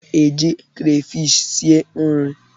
M ga-eji krafish sie nri.